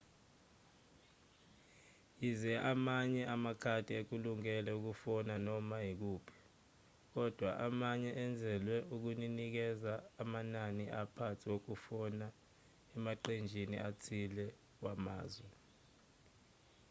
yize amanye amakhadi ekulungele ukufonela noma ikuphi kodwa amanye enzelwe ukunikeza amanani aphansi wokufona emaqenjini athile wamazwe